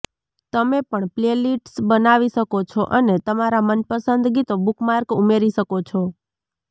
તમે પણ પ્લેલિસ્ટ્સ બનાવી શકો છો અને તમારા મનપસંદ ગીતો બુકમાર્ક ઉમેરી શકો છો